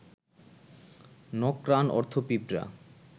নক্রান অর্থ পিঁপড়া